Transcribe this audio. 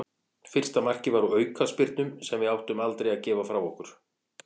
Fyrsta markið var úr aukaspyrnu sem við áttum aldrei að gefa frá okkur.